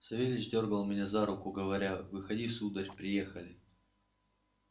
савельич дёргал меня за руку говоря выходи сударь приехали